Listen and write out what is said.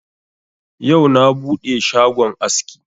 Yau na buɗe shagon aski.